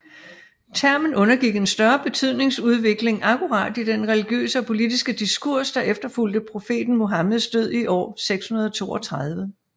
Termen gennemgik en større betydningsudvikling akkurat i den religiøse og politiske diskurs der efterfulgte profeten Muhammeds død i år 632